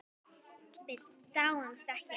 Við dáumst ekki að